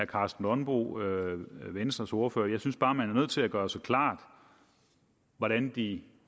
karsten nonbo venstres ordfører jeg synes bare at man er nødt til at gøre sig klart hvordan de